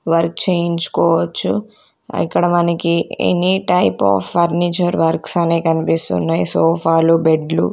వారు చేయించుకోవచ్చు ఇక్కడ మనకి any type of furniture works అని కనిపిస్తున్నాయ్ సోఫాలు బెడ్లు --